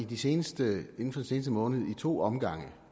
den seneste måned i to omgange